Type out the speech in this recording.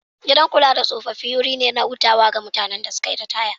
Gidan kula da tsofaffi wuri ne na hutu ga mutanen da suka yi ritaya.